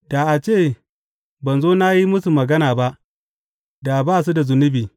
Da a ce ban zo na yi musu magana ba, da ba su da zunubi.